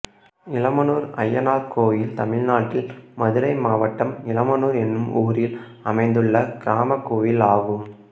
இளமனூர் அய்யனார் கோயில் தமிழ்நாட்டில் மதுரை மாவட்டம் இளமனூர் என்னும் ஊரில் அமைந்துள்ள கிராமக் கோயிலாகும்